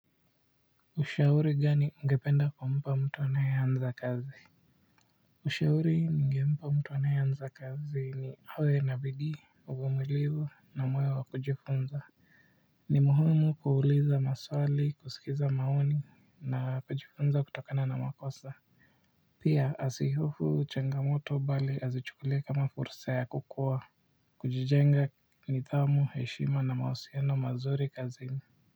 Ushauri gani ungependa kumpa mtu anayenza kazi ushauri ningempa mtu anayenza kazi ni awe na bidii uvumilivu na moyo wa kujifunza ni muiumu kuuliza maswali kusikiza maoni na kujifunza kutokana na makosa pia asihofu changamoto bali azichukulie kama fursa ya kukua kujijenga nidhamu heshima na mawasiliano mazuri kazini.